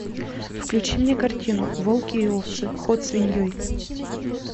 включи мне картину волки и овцы ход свиньей